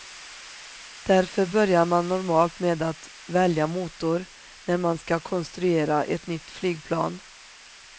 Därför börjar man normalt med att välja motor när man ska konstruera ett nytt flygplan.